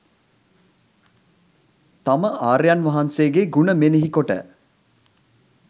තම ආර්යයන් වහන්සේගේ ගුණ මෙනෙහි කොට